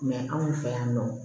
anw fɛ yan nɔ